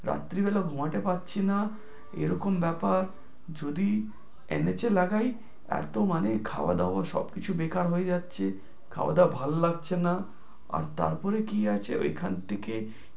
রাত্রি বেলা ঘুমাতে পাচ্ছি, না এরকম ব্যাপার যদি লাগাই এত মানে খাওয়া-দাওয়া সবকিছু বেকার হয়ে যাচ্ছে, খাওয়া-দাওয়া ভালো লাগছে না, আর তার পরে কি আছে ওইখান থেকে